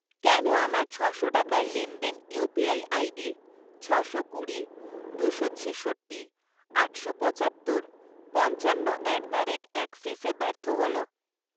কেন আমার ছ'শো টাকার লেনদেন ইউপিআই আইডি ছশো কুড়ি, দুশো ছিষট্টি, আটশো পঁচাত্তর, পঞ্চান্ন অ্যাট দ্য রেট অ্যাক্সিসে ব্যর্থ হল?